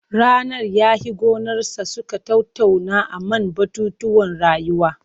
Rannan ya he gonarsa suka tattauna a man batutuwan rayuwa.